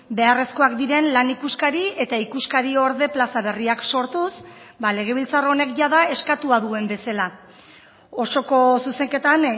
beharrezkoak diren lan ikuskari eta ikuskari orde plaza berriak sortuz ba legebiltzar honek jada eskatua duen bezala osoko zuzenketan